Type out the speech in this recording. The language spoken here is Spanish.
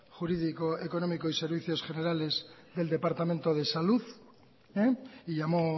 jurídico económico y servicios generales del departamento de salud y llamó